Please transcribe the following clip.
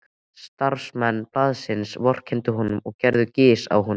Starfsmenn blaðsins vorkenndu honum og gerðu gys að honum.